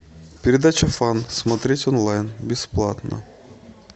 передача фан смотреть онлайн бесплатно